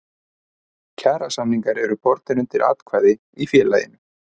Kjarasamningar eru bornir undir atkvæði í félaginu.